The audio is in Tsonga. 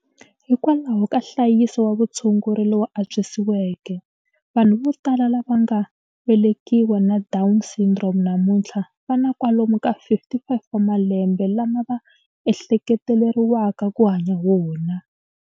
Hikwalaho ka nhlayiso wa vutshunguri lowu antswisiweke, vanhu vo tala lava va nga velekiwa na Down Syndrome namuntlha va na kwalomu ka 55 wa malembe lama va ehleketeleriwaka ku hanya wona.